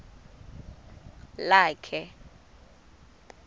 lakhe